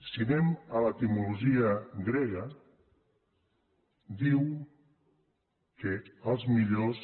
si anem a l’etimologia grega diu que els millors